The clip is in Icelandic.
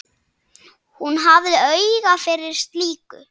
Hún hafði auga fyrir slíku.